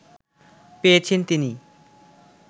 পেয়েছেন তিনি